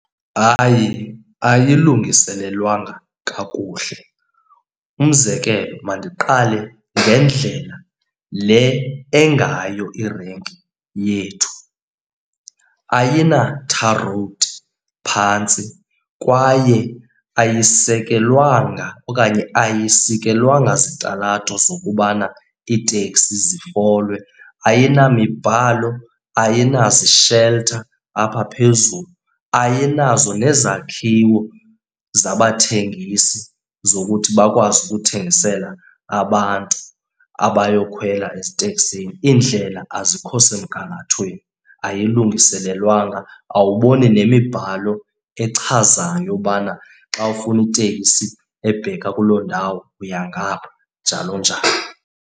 Hayi, ayilungiselelwanga kakuhle. Umzekelo mandiqale ngendlela le engayo irenki yethu, ayina-tar road phantsi kwaye ayisekelwanga okanye ayisikelwanga zitalato zokubana iiteksi zifole. Ayinamibhalo, ayinazisheltha apha phezulu, ayinazo nezakhiwo zabathengisi zokuthi bakwazi ukuthengisela abantu abayokhwela eziteksini. Iindlela azikho semgangathweni, ayilungiselelwanga, awuboni nemibhalo echazayo ubana xa ufuna itekisi ebheka kuloo ndawo uya ngapha, njalo njalo.